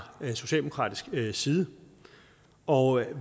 socialdemokratisk side og